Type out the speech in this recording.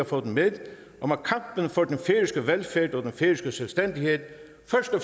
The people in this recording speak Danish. få den med om at kampen for den færøske velfærd og den færøske selvstændighed